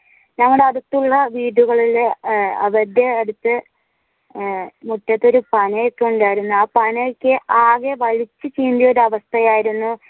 ഞങ്ങളുടെ അടുത്തുള്ള വീടുകളിൽ അവരുടെ അടുത്ത് മുറ്റത്തു ഒരു പനയോക്കെ ഉണ്ടായിരുന്നു ആ പനയോക്കെ ആകെ പഴുത്തു ചീന്തിയ ഒരു അവസ്ഥയായിരുന്നു.